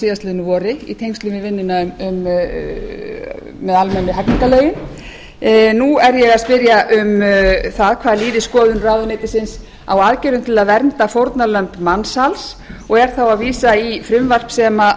síðastliðnu vori í tengslum við vinnuna með almennu hegningarlögin nú er ég að spyrja um það hvað líði skoðun ráðuneytisins á aðgerðum til að vernda fórnarlömb mansals og er þá að vísa í frumvarp sem